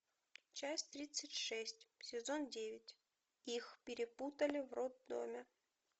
часть тридцать шесть сезон девять их перепутали в роддоме